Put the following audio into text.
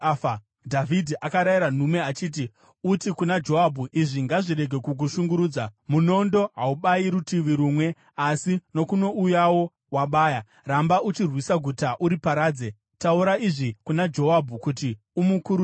Dhavhidhi akarayira nhume achiti, “Uti kuna Joabhu, ‘Izvi ngazvirege kukushungurudza; munondo haubayi rutivi rumwe asi nokunouyawo wabaya. Ramba uchirwisa guta uriparadze.’ Taura izvi kuna Joabhu kuti umukurudzire.”